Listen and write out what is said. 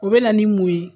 O bɛ na ni mun ye